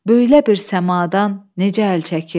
Böylə bir səmadan necə əl çəkim?